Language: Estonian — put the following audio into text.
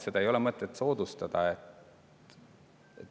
Seda ei ole mõtet soodustada.